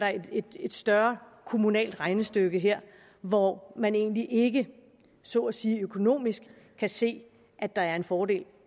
et større kommunalt regnestykke her hvor man egentlig ikke så at sige økonomisk kan se at der er en fordel